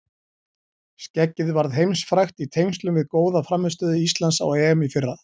Skeggið varð heimsfrægt í tengslum við góða frammistöðu Íslands á EM í fyrra.